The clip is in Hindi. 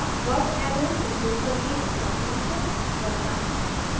curved arrows उपयोग करके electron shifts दर्शाना